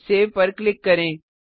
save पर click करें